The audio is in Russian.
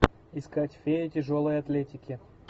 искать фея тяжелой атлетики